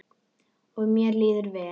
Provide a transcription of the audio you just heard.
Og mér líður vel.